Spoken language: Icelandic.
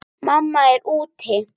Mamma er úti.